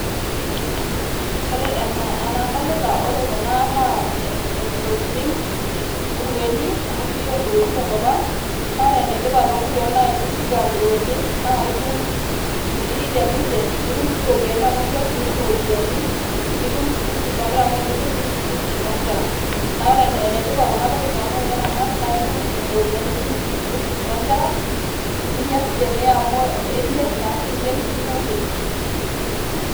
ore enaa enadolita naa ore kuna naa ntokitin ,nkurueni amu ekijo yiook inkurueni tenkop ang ,naa ore ene tipat naa tenifuga nkurueni ,naa itum inkiri teninche, nitum si iropyiani amu imirr ,nitum iropiyiani ,nitum school fees oonkera . am tenimir nitum school fees oonkera naa ore ene tipat kuna tokitin amu teniramat nitum iropiyiani, nitum school fees oonkera ,ninya sii tenee amu imirr ashu iyieng ninya nkiri.